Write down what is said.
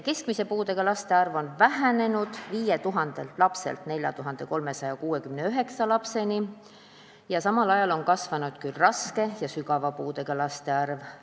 Keskmise puudega laste arv on vähenenud 5000-st lapsest 4369 lapseni, samal ajal on aga kasvanud raske ja sügava puudega laste arv.